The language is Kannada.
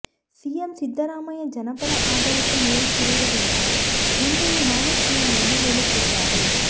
ಸಿಎಂ ಸಿದ್ದರಾಮಯ್ಯ ಜನಪರ ಅಡಳಿತ ನೀಡುತ್ತಿರುವುದರಿಂದ ಮುಂದೆಯೂ ನಾನೇ ಸಿಎಂ ಎಂದು ಹೇಳುತ್ತಿದ್ದಾರೆ